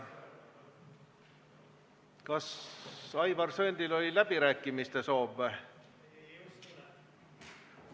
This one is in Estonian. Kas Aivar Sõerdil oli läbirääkimiste soov?